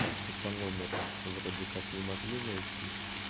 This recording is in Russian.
так что по номеру вроде как не могли найти